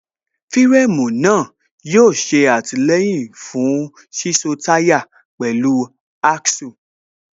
fíréémù náà yóò ṣe àtìlẹyìn fún síso táyà Axle